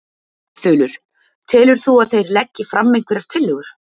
Þulur: Telur þú að þeir leggi fram einhverjar tillögur?